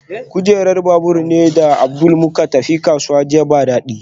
Kujerar babur ni da Abdul muka tafi kasuwa jiya ba dadi